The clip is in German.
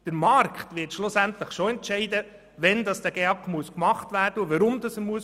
Der Markt wird schlussendlich schon entscheiden, wann und weshalb der GEAK gemacht werden muss.